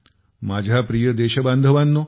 माझ्या प्रिय देश बांधवानो